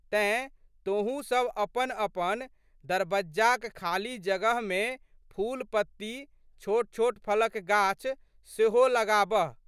तेँ, तोहूँसब अपनपन दरबज्जाक खाली जगहमे फूलपत्ती, छोटछोट फलक गाछ सेहो लगाबह।